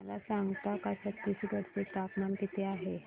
मला सांगता का छत्तीसगढ चे तापमान किती आहे